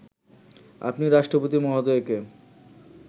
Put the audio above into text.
আপনি রাষ্ট্রপতি মহোদয়কে